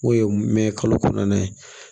N'o ye mɛn kalo kɔnɔntɔn ye